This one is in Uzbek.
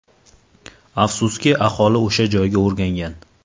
Afsuski, aholi o‘sha joyga o‘rgangan.